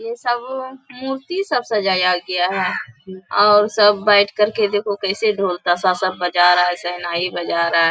ये सब मूर्ति सब सजाया गया है और सब बैठकर के देखो कैसे ढोल ताशा सब बजा रहा है।